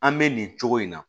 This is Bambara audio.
An bɛ nin cogo in na